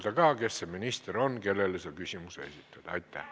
Palun öelda ka, kes see minister on, kellele küsimus mõeldud on!